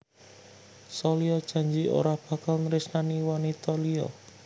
Salya janji ora bakal nresnani wanita liya